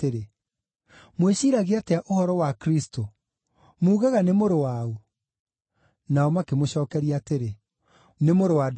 “Mwĩciiragia atĩa ũhoro wa Kristũ? Muugaga nĩ mũrũ wa ũ?” Nao makĩmũcookeria atĩrĩ, “Nĩ mũrũ wa Daudi.”